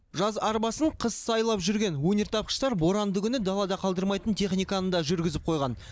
жаз арбасын қыс сайлап жүрген өнертапқыштар боранды күні далада қалдырмайтын техниканы да жүргізіп қойған